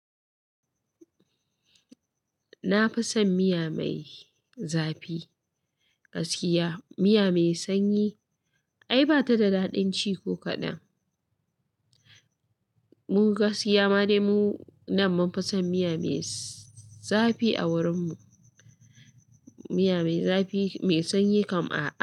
Na fi son miya mai zafi. Gaskiya miya mai sanyi ai bata da daɗin ci ko kaɗan. Mu gaskiya ma dai mu nan mun fi son miya mai zafi a wurin mu. Miya mai zafi, mai sanyi kam a'a.